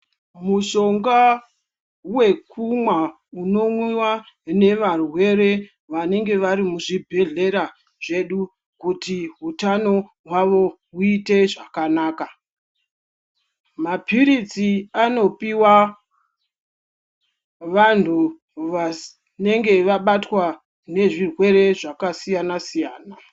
Mushonga wekumwa unomwiwa nevarwere vanenge vari muzvibhedhlera zvedu kuti utano hwavo huite zvakanaka. Mapiritsi anopiwa vantu vanenge vabatwa nezvirwere zvakasiyana-siyana.